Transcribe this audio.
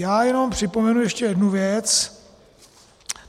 Já jenom připomenu ještě jednu věc.